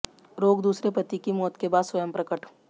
रोग दूसरे पति की मौत के बाद स्वयं प्रकट